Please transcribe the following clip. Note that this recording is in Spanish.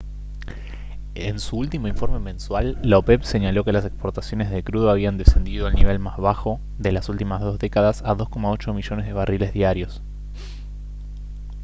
en su último informe mensual la opep señaló que las exportaciones de crudo habían descendido al nivel más bajo de las últimas dos décadas a 2,8 millones de barriles diarios